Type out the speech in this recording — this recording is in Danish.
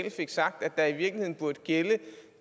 at